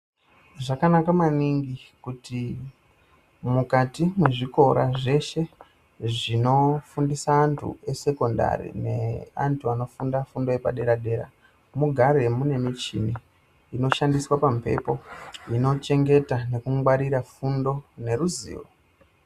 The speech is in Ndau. Zvakanaka maningi kuti mukati mwezvikora zveshe zvinofundisa antu esekondari neantu anofunda fundo yepadera-dera mugare mune michini inoshandiswa pamhepo inochengeta nekungwarura fundo neruzivo.